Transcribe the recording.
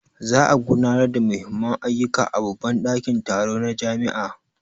Za a gudanar da Muhimmman ayyuka a babban dakin taro na jami'a.